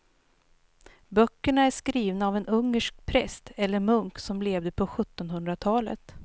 Böckerna är skrivna av en ungersk präst eller munk som levde på sjuttonhundratalet.